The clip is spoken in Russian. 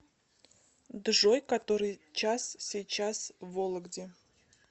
джой который час сейчас в вологде